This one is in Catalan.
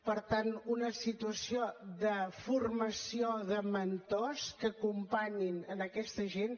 per tant una situació de formació de mentors que acompanyin aquesta gent